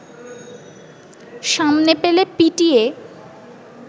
সামনে পেলে পিটিয়ে